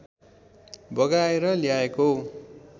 बगाएर ल्याएको